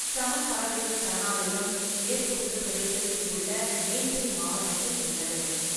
சமன் பறவைகள் சரணாலயம் மேற்கு உத்தரப்பிரதேசத்தில் உள்ள மெயின்புரி மாவட்டத்தில் உள்ளது.